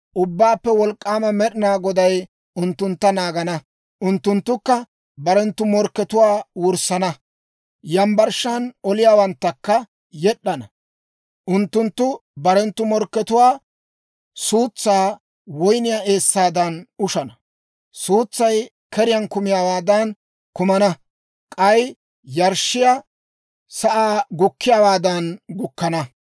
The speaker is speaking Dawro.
Ubbaappe Wolk'k'aama Med'inaa Goday unttuntta naagana. Unttunttukka barenttu morkkatuwaa wurssana; yambbarshshan oliyaawanttakka yed'd'ana. Unttunttu barenttu morkkatuwaa suutsaa woyniyaa eessaadan ushana; suutsay keriyaan kumiyaawaadan kumana; k'ay yarshshiyaa sa'an gukkiyaawaadan gukkana.